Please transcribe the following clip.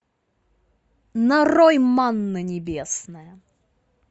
нарой манна небесная